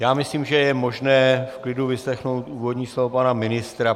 Já myslím, že je možné v klidu vyslechnout úvodní slovo pana ministra.